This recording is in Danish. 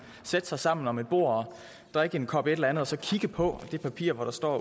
sætte sig sammen om et bord og drikke en kop et eller andet og så kigge på det papir hvor der står